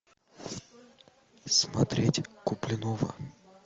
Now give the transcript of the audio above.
смотреть куплинова